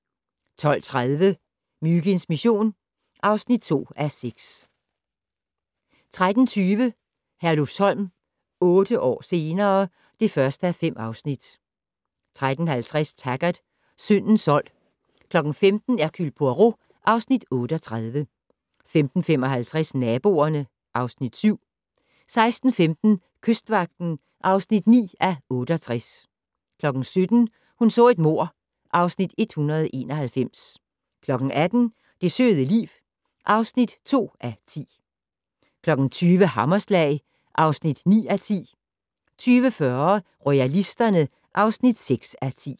12:30: Myginds mission (2:6) 13:20: Herlufsholm - otte år senere ... (1:5) 13:50: Taggart: Syndens sold 15:00: Hercule Poirot (Afs. 38) 15:55: Naboerne (Afs. 7) 16:15: Kystvagten (9:68) 17:00: Hun så et mord (Afs. 191) 18:00: Det søde liv (2:10) 20:00: Hammerslag (9:10) 20:40: Royalisterne (6:10)